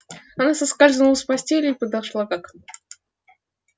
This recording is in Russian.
она соскользнула с постели и подошла к окну